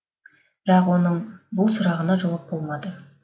бірақ оның бұл сұрағына жауап болмады